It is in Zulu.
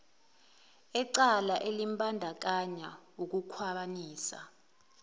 ecala elimbandakanya ukukhwabanisa